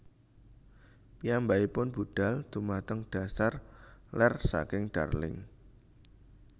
Piyambakipun budhal dhumateng dhasar lèr saking Darling